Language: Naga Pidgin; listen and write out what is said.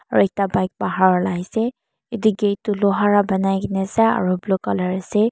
aru ekta bike bahar ulai ase etu gate tu loha ra banai kene ase aru blue colour ase.